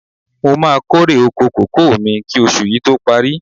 Mo máa kórè oko kókò mi kí oṣù yí tó parí.